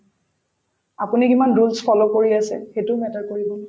আপুনি কিমান roles follow কৰি আছে সেইটো matter কৰিব